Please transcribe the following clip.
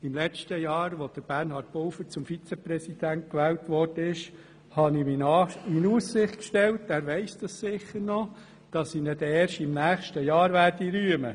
Im letzten Jahr, als Bernhard Pulver zum Regierungsvizepräsidenten gewählt wurde, stellte ich ihm in Aussicht – das wird er sicher noch wissen – ich würde ihn dann erst im nächsten Jahr rühmen.